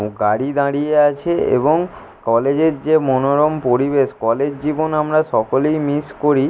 গাড়ি দাঁড়িয়ে আছে এবং কলেজের যে মনোরম পরিবেশ কলেজ জীবন আমরা সকলেই মিস করি।